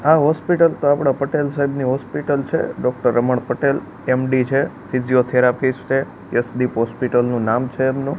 આ હોસ્પિટલ તો આપડા પટેલ સાહેબની હોસ્પિટલ છે ડોક્ટર રમણ પટેલ એમ_ડી છે ફિઝિયોથેરાપિસ્ટ છે યશદીપ હોસ્પિટલ નુ નામ છે એમનુ.